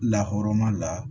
Lahɔrɔma la